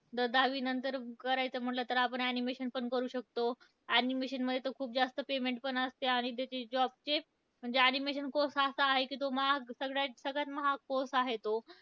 जर दहावीनंतर करायचं म्हणलं तर आपण animation पण करू शकतो. Animation मध्ये तर खूप जास्त payment पण असते. आणि त्याचे job चे म्हणजे animation course हा असा आहे की तो महाग, सगळ्यात सगळ्यात महाग course आहे तो.